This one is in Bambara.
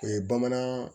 O ye bamanan